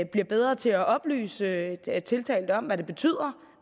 bliver bedre til at oplyse tiltalte om hvad det betyder